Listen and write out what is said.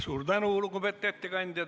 Suur tänu, lugupeetud ettekandja!